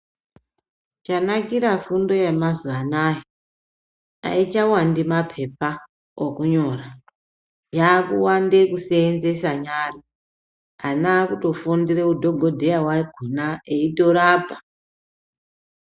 Chanakira fundo yemazuwa anaya ayichawandi mapepa okunyora, yakuwande kuseenzesa nyara ,ana akutofundira udhokodhera hwakona eyitorapa.